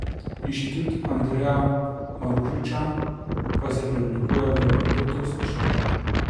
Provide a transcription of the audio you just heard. Inštitut Andreja Marušiča pa se preoblikuje v doktorsko šolo.